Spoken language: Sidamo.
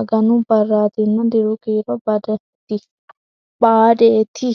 aganu barritanna diru kiiro badateeti.